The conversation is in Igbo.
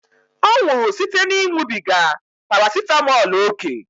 Ọ nwụrụ site na ịṅụbiga parasitamọl ókè